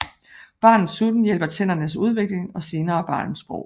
Barnets sutten hjælper tændernes udvikling og senere barnets sprog